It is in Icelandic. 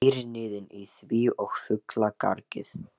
Heyrir niðinn í því og fuglagargið.